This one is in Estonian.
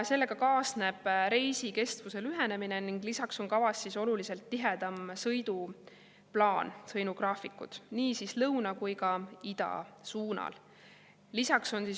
Sellega kaasneb reisi kestuse lühenemine ning on kavas oluliselt tihedamat sõiduplaani, sõidugraafikuid nii lõuna kui ka ida suunal.